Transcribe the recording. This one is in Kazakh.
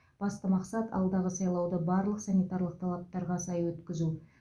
басты мақсат алдағы сайлауды барлық санитарлық талаптарға сай өткізу